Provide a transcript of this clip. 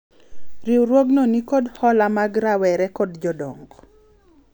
riwruogno nikod hola mag rawere kod jodongo